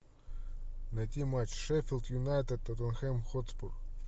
найти матч шеффилд юнайтед тоттенхем хотспур